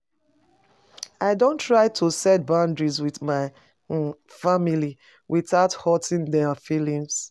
I don try to set boundaries with my um family without hurting dem feelings.